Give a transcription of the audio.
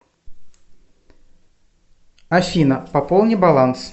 афина пополни баланс